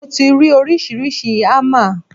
Mo ti rí oríṣiríṣi ámà.